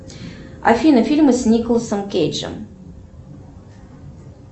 афина фильмы с николасом кейджем